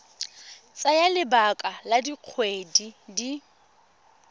tsaya lebaka la dikgwedi di